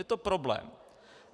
Je to problém.